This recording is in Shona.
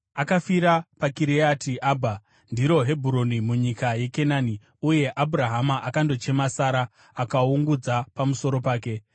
Akafira paKiriati Abha (ndiro Hebhuroni) munyika yeKenani, uye Abhurahama akandochema Sara akaungudza pamusoro pake.